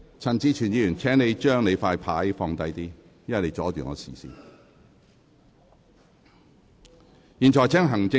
陳志全議員，請把你的展示牌放低一點，因為它阻礙了我的視線。